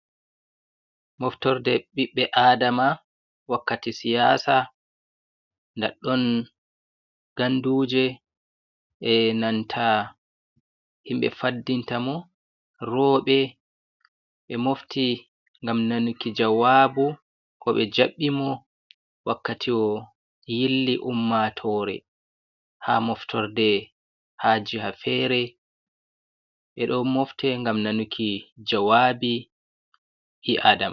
Moftorde ɓiɓbe aɗdama wakkati siyaasa, ndaɗɗon ganduje e nanta himɓe faddinta mo. Rooɓe ɓe moofti ngam nanuki jawaabu, ko ɓe jabɓi mo wakkati o yilli ummatoore haa moftorde haa jiha feere, ɓe do mofte ngam nanuki jawaabi ɓi aadama.